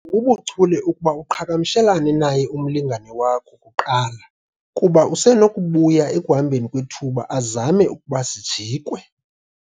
bubuchule ukuba uqhagamshelane naye umlingane wakho kuqala kuba usenokubuya ekuhambeni kwethuba azame ukuba sijikwe